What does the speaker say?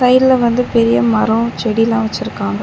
சைட்ல வந்து பெரிய மரோ செடிலா வச்சுருக்காங்க.